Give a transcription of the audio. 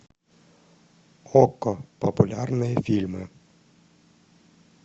окко популярные фильмы